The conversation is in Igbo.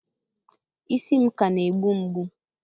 isi m ka na-egbu mgbu